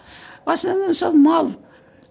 в основном сол мал